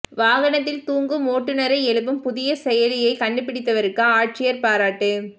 வாகனத்தில் தூங்கும் ஓட்டுநரை எழுப்பும் புதிய செயலியை கண்டுபிடித்தவருக்கு ஆட்சியா் பாராட்டு